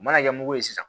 U mana kɛ mugu ye sisan